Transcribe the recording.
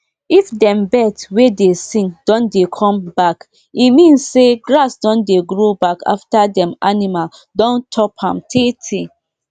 for dis holy dis holy planting we no dey wear shoe na barefoot we um dey waka so our skin go touch di blessed um ground direct. um